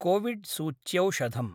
COVID सूच्यौषधम्